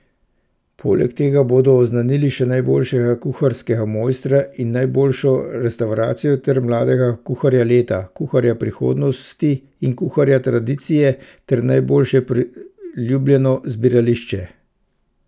Poleg tega bodo oznanili še najboljšega kuharskega mojstra in najboljšo restavracijo ter mladega kuharja leta, kuharja prihodnosti in kuharja tradicije ter najboljše priljubljeno zbirališče.